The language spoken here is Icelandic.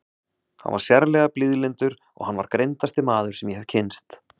Hann var sérlega blíðlyndur og hann var greindasti maður sem ég hef kynnst.